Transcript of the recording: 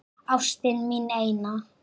Ástin mín eina.